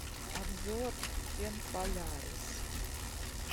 обзор фен полярис